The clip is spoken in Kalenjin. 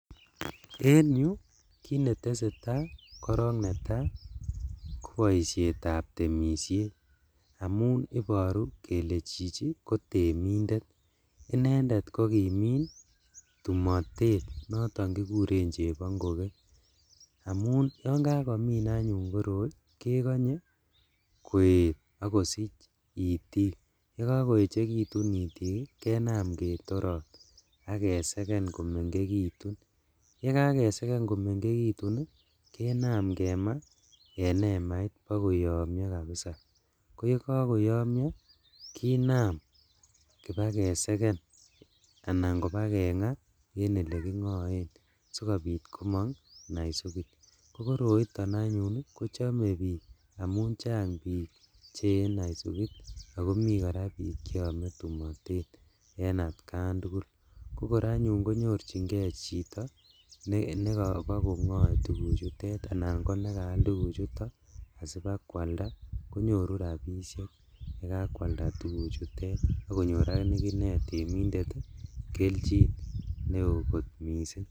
En yu kinetesetaaa korong netaa koboishetab temishet amun iboru kele chichi kotemindet, inendet kokimin tumotet noton kikuren chebongokee amun yon kakomin anyun koroi kekonye koet ak kosich itik yekokoechekitun itik ii kenam ketorot ak keseke komengekitu ye kakeseke komengekitun ii kenam kemaa en emait bo koyomio kabisa, koyekokoyomio kinam kibaa keseken anan kobaa kengaa en olekingoen sikobit komong naisukit kokoroiton anyun kochome bik amun chang bik cheyee naisukit ako mi koraa bik cheome tumotet en atkan tugul kokor anyun konyorjingee chito nekobokongoe tuguchutet anan ko nekaal tuguchuto sibakwalda konyoru rabishek ye kakwalda tuguchutet ak konyor akinee temindet kelchin neo kot missing'.